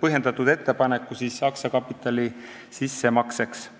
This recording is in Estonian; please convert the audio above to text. põhjendatud ettepaneku aktsiakapitali sissemakseks.